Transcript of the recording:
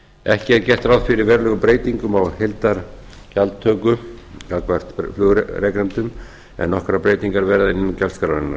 ekki er gert ráð fyrir verulegum breytingum á heildargjaldtöku gagnvart flugrekendum en nokkrar breytingar verða innan gjaldskrárinnar